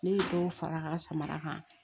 Ne ye dɔw fara samara kan